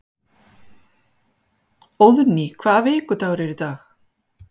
Óðný, hvaða vikudagur er í dag?